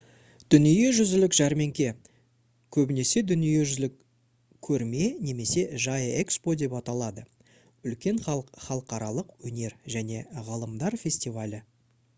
дүниежүзілік жәрмеңке көбінесе дүниежүзілік көрме немесе жай экспо деп аталады — үлкен халықаралық өнер және ғылымдар фестивалі